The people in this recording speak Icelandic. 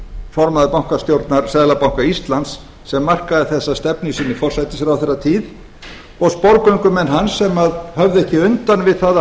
formaður bankastjórnar seðlabanka íslands sem markaði þessa stefnu í sinni forsætisráðherratíð og sporgöngumenn hans sem höfðu ekki undan við það að